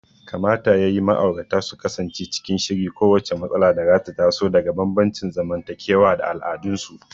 Kamata ya yi ma'aurata su kasance cikin shiri kowacce matsala da za ta taso daga bambancin zamantakewa da al'adunsu.